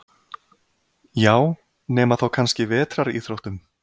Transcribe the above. Já, nema þá kannski vetraríþróttum.